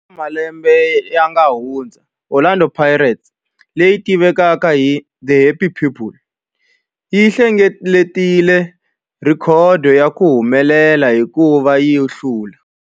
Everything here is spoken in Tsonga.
Eka malembe lawa yanga hundza, Orlando Pirates, leyi tivekaka tani hi 'The Happy People', yi hlengeletile rhekhodo ya ku humelela hikuva yi hlule